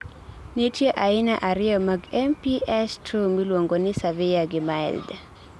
nitie aina ariyo mag MPS II miluongoni severe gi mild